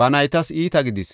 ba naytas iita gidis.